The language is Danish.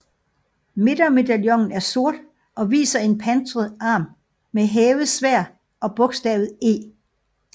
Midtermedaljonen er sort og viser en pansret arm med hævet sværd og bogstavet E